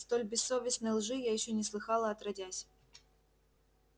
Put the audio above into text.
столь бессовестной лжи я ещё не слыхала отродясь